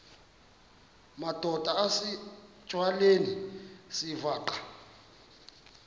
madod asesihialweni sivaqal